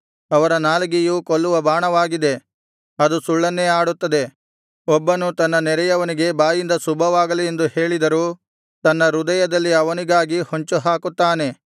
ಅವರ ನಾಲಿಗೆಯು ಕೊಲ್ಲುವ ಬಾಣವಾಗಿದೆ ಅದು ಸುಳ್ಳನ್ನೇ ಆಡುತ್ತದೆ ಒಬ್ಬನು ತನ್ನ ನೆರೆಯವನಿಗೆ ಬಾಯಿಂದ ಶುಭವಾಗಲಿ ಎಂದೂ ಹೇಳಿದರೂ ತನ್ನ ಹೃದಯದಲ್ಲಿ ಅವನಿಗಾಗಿ ಹೊಂಚುಹಾಕುತ್ತಾನೆ